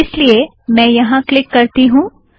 इस लिए मैं यहाँ क्लिक करती हूँ